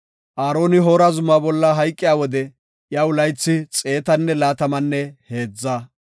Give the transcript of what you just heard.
Aaroni Hoora zuma bolla hayqiya wode iyaw laythi xeetanne laatamanne heedza.